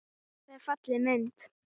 Þetta er falleg mynd.